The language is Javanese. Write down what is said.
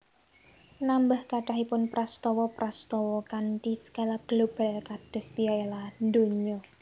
Nambah kathahipun prastawa prastawa kanthi skala global kados Piala Donya